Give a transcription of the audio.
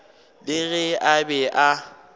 le ge a be a